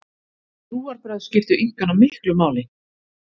Trúarbrögð skiptu Inkana miklu máli.